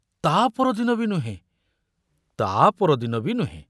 ତା ପରଦିନ ବି ନୁହେଁ, ତା ପରଦିନ ବି ନୁହେଁ।